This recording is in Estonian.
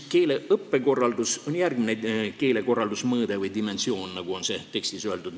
Keeleõppekorraldus on järgmine keelekorraldusmõõde või -dimensioon, nagu on tekstis öeldud.